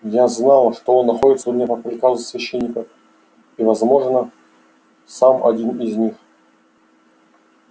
я знал что он находится у меня по приказу священников и возможно сам один из них